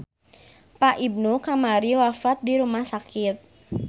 Pak Ibnu kamari wafat di rumah sakit